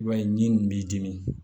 I b'a ye ni nin b'i dimi